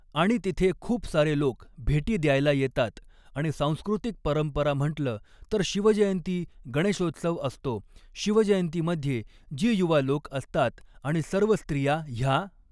आणि तिथे खूप सारे लोक भेटी द्यायला येतात आणि सांस्कृतिक परंपरा म्हटलं तर शिवजयंती गणेशोत्सव असतो शिवजयंतीमध्ये जी युवा लोक असतात आणि सर्व स्त्रिया ह्या